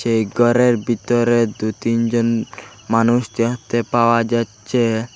এই ঘরের ভিতরে দুই তিনজন মানুষ দেখতে পাওয়া যাচ্ছে।